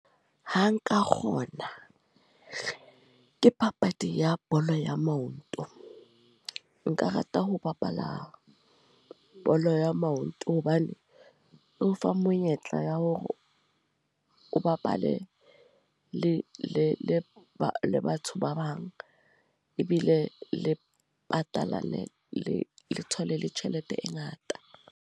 Ho nka kgona, ke papadi ya bolo ya maoto. Nka rata ho bapala bolo ya maoto. Hobane e o fa monyetla tla ya hore o bapale le le batho ba bang. Ebile le patalane le le thole le tjhelete e ngata.